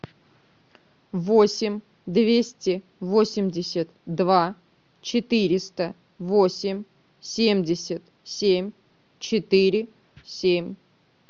восемь двести восемьдесят два четыреста восемь семьдесят семь четыре семь